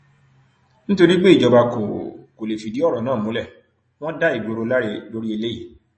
nítorí pé ìjọba kò kò lè fìdí ọrọ náà múlẹ wọn dá ìgboro láre lórí eléyìí